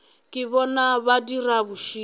ke bona ba dirago bošilo